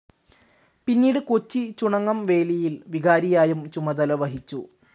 പിന്നീട് കൊച്ചി ചുണങ്ങംവേലിയിൽ വികാരിയായും ചുമതല വഹിച്ചു.